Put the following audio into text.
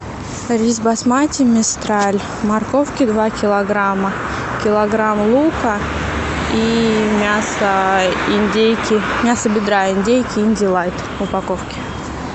рис басмати мистраль морковки два килограмма килограмм лука и мясо индейки мясо бедра индейки индилайт в упаковке